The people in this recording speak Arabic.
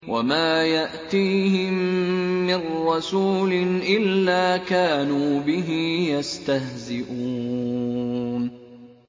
وَمَا يَأْتِيهِم مِّن رَّسُولٍ إِلَّا كَانُوا بِهِ يَسْتَهْزِئُونَ